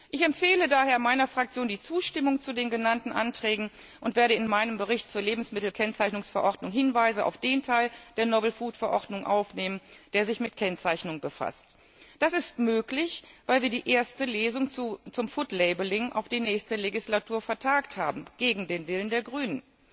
Ich empfehle daher meiner Fraktion die Zustimmung zu den genannten Anträgen und werde in meinem Bericht zur Lebensmittelkennzeichnungsverordnung Hinweise auf den Teil der Verordnung über neuartige Lebensmittel aufnehmen, der sich mit Kennzeichnung befasst. Das ist möglich, weil wir die erste Lesung zum Kennzeichnung von Lebensmitteln auf die nächste Legislatur vertagt haben, gegen den Willen der Grünen.